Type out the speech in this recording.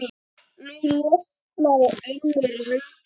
Nú losnaði önnur höndin.